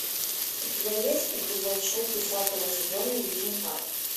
у тебя есть эпизод шесть десятого сезона южный парк